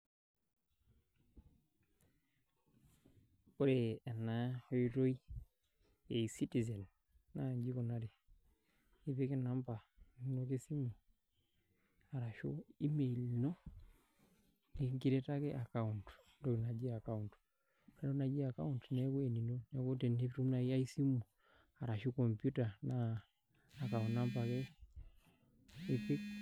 Wore ena oitoi e ecitizen, naa inji ikunari. Ipik inamba inonok esimu, arashu email ino pee increataki account, entoki naji account. Wore enatoki naji account neeku enino. Neeku tenitum naaji ai simu arashu computer naa account number ake ipik